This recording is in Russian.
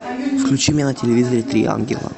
включи мне на телевизоре три ангела